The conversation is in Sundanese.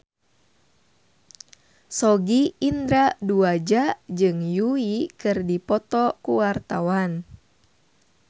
Sogi Indra Duaja jeung Yui keur dipoto ku wartawan